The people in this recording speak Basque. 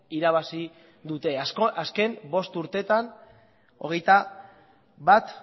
irabazi dute azken bost urteetan hogeita bat